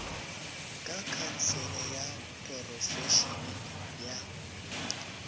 ka khansele ya porofešene ya